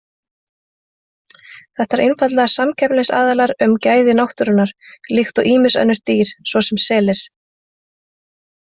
Þetta eru einfaldlega samkeppnisaðilar um gæði náttúrunnar, líkt og ýmis önnur dýr svo sem selir.